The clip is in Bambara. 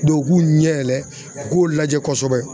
Dɔn u k'u ɲɛ yɛlɛ u k'o lajɛ kosɛbɛ